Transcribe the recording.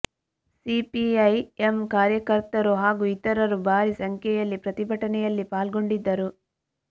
CPI M ಕಾರ್ಯಕರ್ತರು ಹಾಗೂ ಇತರರು ಭಾರೀ ಸಂಖ್ಯೆಯಲ್ಲಿ ಪ್ರತಿಭಟನೆಯಲ್ಲಿ ಪಾಲ್ಗೊಂಡಿದ್ದರು